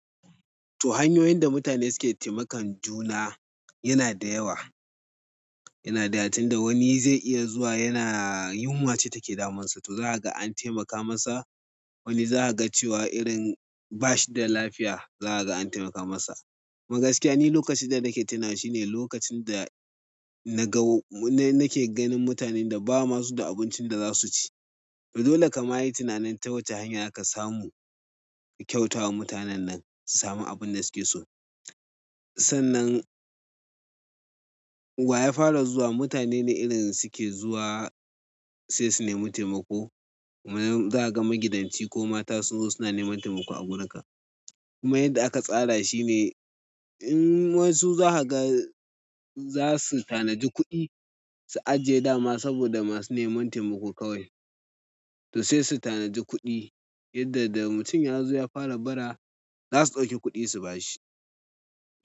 Toh hanyoyin da mutane suke taimakon juna yana da yawa, yana da yawa tun da wani zai iya zuwa yana yunwa ce take damunsa to za a ga an taimaka masa. Wani za a ga cewa irin bash da lafiya za a ga an taimaka masa. Kuma gaskiya ni lokacin danake tinawa shine lokacin da naga nake ganin mutanen da basu ma da abincin da zasu ci to dole ka ma yi tunanin ta wace hanya zaka samu kyauta wa mutanen nan su samu abin da suke so. Sannan wa ya fara zuwa, mutane ne irin suke zuwa sai su nemi taimako. Kuma zan ga magidanci ko mata su zo suna neman taimako a gurin ka. Kuma yadda aka tsara shi ne in wasu za ka ga za su tanadi kuɗi su ajiye dama saboda masu neman taimako kawai. To sai su tanadi kuɗi yadda da mutum ya zo ya fara bara za su ɗauki kuɗi su ba shi.